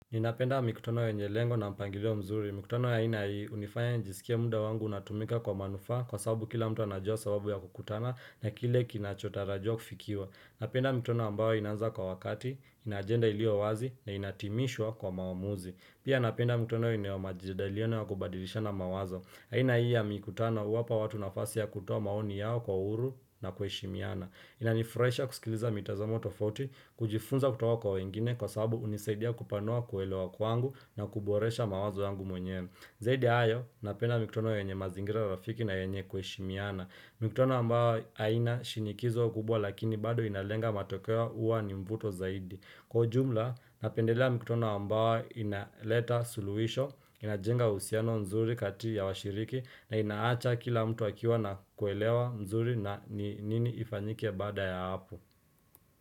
Ninapenda mikutano yenye lengo na mpangilio mzuri. Mikutano ya ina hii hunifanya nijiskie muda wangu unatumika kwa manufaa kwa sababu kila mtu anajua sababu ya kukutana na kile kinachotarajiwa kufikiwa. Napenda mikutano ambao inaanza kwa wakati, ina ajenda ilio wazi na inatimishwa kwa mawamuzi. Pia napenda mikutano yenye majadiliano wakubadilisha na mawazo. Aina hii ya mikutano huwapa watu nafasi ya kutoa maoni yao kwa uhuru na kuheshimiana. Inanifurahisha kusikiliza mitazamo tofauti, kujifunza kutoka kwa wengine kwa sababu hunisaidia kupanua kuelewa kwangu na kuboresha mawazo yangu mwenye. Zaidi ya hayo, napenda mikutano yenye mazingira ya urafiki na yenye kuheshimiana. Mikutano ambao haina shinikizo kubwa lakini bado inalenga matokeo huwa ni mvuto zaidi. Kwa ujumla, napendelea mikutano ambao inaleta suluhisho, inajenga uhusiano nzuri kati ya washiriki na inaacha kila mtu akiwa na kuelewa nzuri na nini ifanyike baada ya hapo.